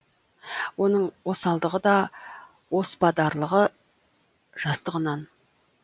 оның осалдығы да оспадарлығы жастығынан